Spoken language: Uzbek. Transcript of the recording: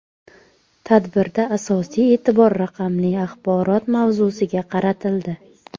Tadbirda asosiy e’tibor raqamli axborot mavzusiga qaratildi.